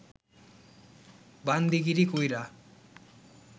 বান্দিগিরি কইরা